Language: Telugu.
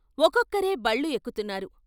ఒక్కొక్కరే బళ్ళు ఎక్కు తున్నారు.